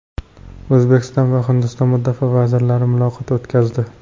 O‘zbekiston va Hindiston mudofaa vazirlari muloqot o‘tkazdi.